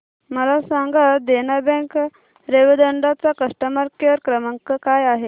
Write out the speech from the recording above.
मला सांगा देना बँक रेवदंडा चा कस्टमर केअर क्रमांक काय आहे